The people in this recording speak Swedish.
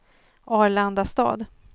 Arlandastad